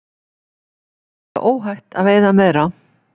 Segja óhætt að veiða meira